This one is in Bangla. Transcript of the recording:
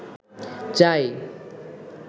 চাই